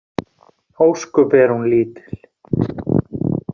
Ósköp er hún lítil.